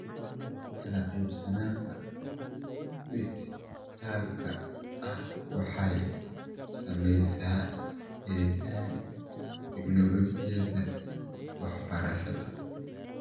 Kala qaybsanaanta dhijitaalka ahi waxay saamaysaa helitaanka tignoolajiyada waxbarashada .